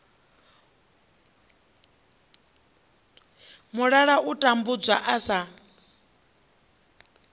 mulala u tambudzwa u sa